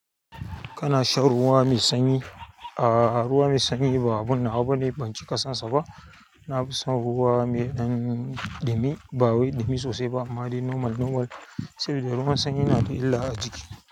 Kana shan ruwa mai sanyi? Ah ruwa mai sanyi ba abu nawa bane, ban ci ka sansa ba. Nafison ruwa mai ɗan ɗumi bawai ɗumi sosai ba amma dai normal normal sabida ruwan sanyi na da illa ajiki.